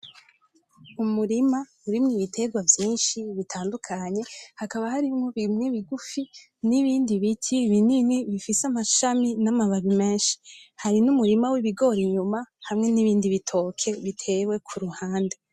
Umurima urimwo ibiterwa vyinshi bitandukanye hakaba harimwo bimwe bigufi n'ibindi biti binini bifise amashami n'amababi menshi. Hari n'umurima w'ibigori inyuma hamwe n'ibindi bitoke bitewe kuruhande.